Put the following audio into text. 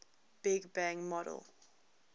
big bang model